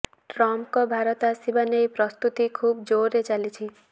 ଟ୍ରମ୍ପଙ୍କ ଭାରତ ଆସିବା ନେଇ ପ୍ରସ୍ତୁତି ଖୁବ୍ ଜୋର୍ରେ ଚାଲିଛି